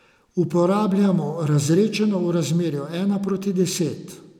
Uporabljamo razredčeno v razmerju ena proti deset.